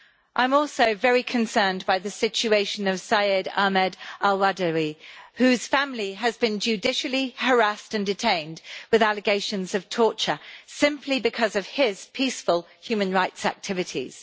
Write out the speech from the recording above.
I am also very concerned by the situation of Syed Ahmed al Badawi, whose family has been judicially harassed and detained with allegations of torture, simply because of his peaceful human rights activities.